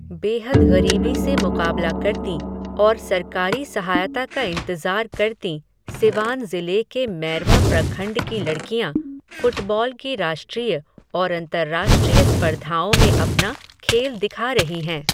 बेहद ग़रीबी से मुक़ाबला करतीं, और सरकारी सहायता का इंतज़ार करतीं, सिवान ज़िले के मैरवा प्रखंड की लड़कियां, फ़ुटबॉल की राष्ट्रीय, और अंतरराष्ट्रीय स्पर्धाओं में अपना खेल दिखा रही हैं.